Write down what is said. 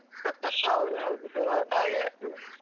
ಹೌದ್ ಹೌದು ಸುಮಾರ್ ಸಮಯ.